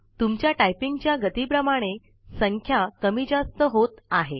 तुमच्या टाइपिंगच्या गतीप्रमाणे संख्या कमी जास्त होत आहे